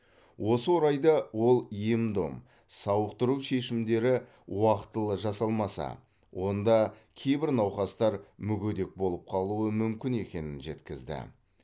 осы орайда ол ем дом сауықтыру шешімдері уақытылы жасалмаса онда кейбір науқастар мүгедек болып қалуы мүмкін екенін жеткізді